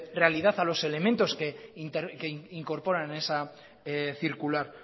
realidad a los elementos que incorporan en esa circular